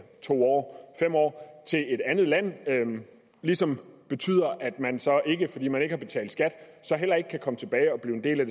to år fem år til et andet land ligesom betyder at man så ikke fordi man ikke har betalt skat i kan komme tilbage og blive en del af